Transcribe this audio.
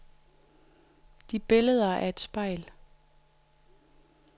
De billeder er et spejl.